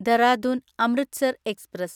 Dehradun Amritsar express